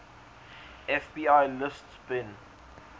fbi lists bin